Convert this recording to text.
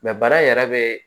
bana in yɛrɛ be